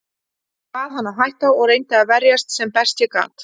Ég bað hann að hætta og reyndi að verjast sem best ég gat.